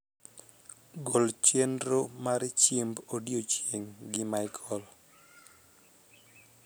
gol chenro mar chiemb odiechieng gi michael